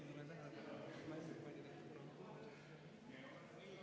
Oleme muudatusettepaneku nr 23 juures.